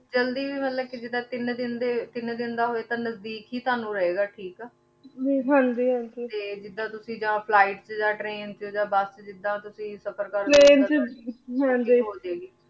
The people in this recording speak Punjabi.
ਜਲਦੀ ਵੀ ਮਤਲਬ ਜਿਦਾਂ ਕੇ ਤੀਨ ਦਿਨ ਕੇ ਤੀਨ ਦਿਨ ਦਾ ਹੋਆਯ ਤੇ ਤਾਣੁ ਨਜਦੀਕ ਈ ਰਹੀ ਗਾ ਹਾਂਜੀ ਹਾਂਜੀ ਤੇ ਜਿਦਾਂ ਕੇ ਜਾਨ flight ਚ ਯਾਂ ਟ੍ਰੈਨ ਚ ਯਾਨ ਬੁਸ ਚ ਜਿਦਾਂ ਤੁਸੀਂ ਸਫ਼ਰ ਕਰਦੇ train ਚ ਹਾਂਜੀ